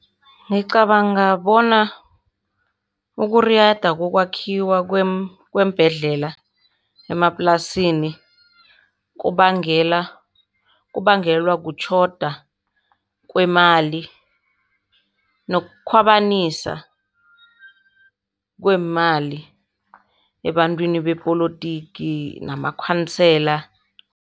Ngicabanga bona ukuriyada kokwakhiwa kweembhedlela emaplasini kubangela, kubangelwa kutjhoda kwemali nokukhwabanisa kweemali ebantwini bepolotiki namakhansela.